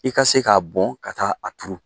I ka se k'a bɔn ka taa a turu